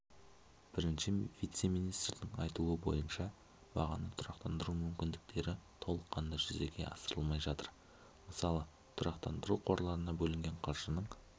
бірінші вице-министрдің айтуы бойынша бағаны тұрақтандыру мүмкіндіктері толыққанды жүзеге асырылмай жатыр мысалы тұрақтандыру қорларына бөлінген қаржының